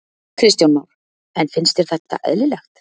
Kristján Már: En finnst þér þetta eðlilegt?